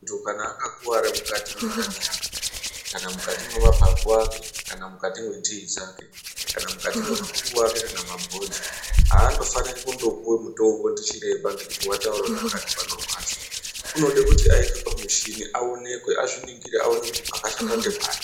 Munthu kana akakuwara mukati mwendani yake kana mukati mwemapapu ake kana mukati mwenzee dzake kana mukati mwemakumbo ake kana mabhonzo, aandofaniri kundopuwa mutombo ndichiremba ngekuti wataura kuti pakati panorwadza unode kuti aiswe pamuchini aonekwe, azviningire aone kuti pakashata ngepari.